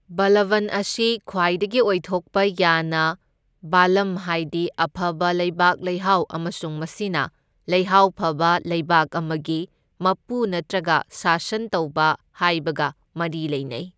ꯚꯂꯕꯟ ꯑꯁꯤ ꯈ꯭ꯋꯥꯏꯗꯒꯤ ꯑꯣꯏꯊꯣꯛꯄ ꯌꯥꯅ ꯚꯥꯂꯝ ꯍꯥꯏꯗꯤ ꯑꯐꯕ ꯂꯩꯕꯥꯛ ꯂꯩꯍꯥꯎ ꯑꯃꯁꯨꯡ ꯃꯁꯤꯅ ꯂꯩꯍꯥꯎ ꯐꯕ ꯂꯩꯕꯥꯛ ꯑꯃꯒꯤ ꯃꯄꯨ ꯅꯠꯇ꯭ꯔꯒ ꯁꯥꯁꯟ ꯇꯧꯕ ꯍꯥꯏꯕꯒ ꯃꯔꯤ ꯂꯩꯅꯩ꯫